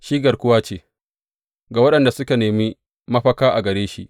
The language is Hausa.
Shi garkuwa ce ga waɗanda suka nemi mafaka a gare shi.